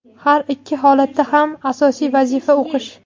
Har ikki holatda ham asosiy vazifa o‘qish.